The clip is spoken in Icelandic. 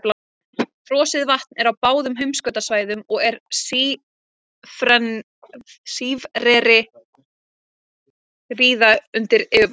Frosið vatn er á báðum heimskautasvæðunum og er sífreri víða undir yfirborðinu.